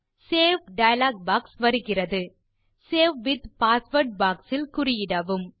save dialog box வருகிறது save with password box இல் குறியிடவும்